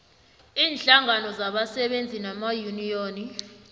iinhlangano zabasebenzi namayuniyoni